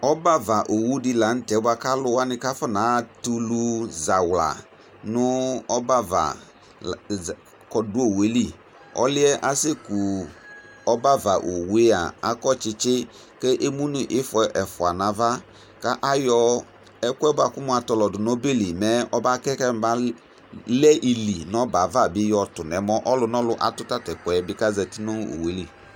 Ɔbɛ ava owu di la tɛ kalu kafɔna natulu nu ɔbɛ ava kɔdu owu ɛli ɔliɛ kase ku ɔbɛava ayu owua akɔ tsitsi ku emu nu ifɔ ɛfua nu ava ku ayɔ ɛku yɛ katɔlɔ du nu ɔbeli mɛ ɔbakɛ kɛmalɛ ili nu ɔbɛ avatu nu ɔmɔ ɔlu nɔlu bi atu tatɛkʊɛ bi kezati nu owu ɛli